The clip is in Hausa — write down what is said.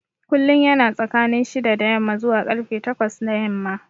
Kullum yana tsakanin shida da yamma zuwa karfe takwas na yamma